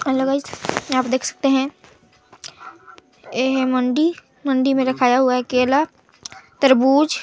hello guys यहाँ पर देख सकते है ये हे मंडी मंडी में रखाया हुआ हे केला तरबूज--